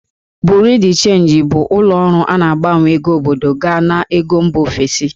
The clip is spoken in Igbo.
Bureau de change' bụ ụlọ ọrụ a na-agbanwe ego obodo gaa n'ego mba ofesi